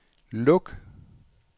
luk